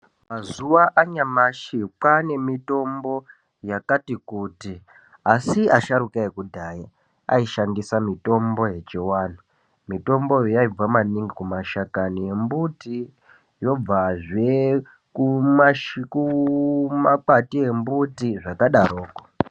Mazuwa anyamashi kwane mitombo yakati kuti asi asharuka ekudhaya aishandisa mitombo yechiwanhu mitombo iyi yaibva maningi kuma shakani embuti yobva zve kuma kwati embuti zvakadaro zvo.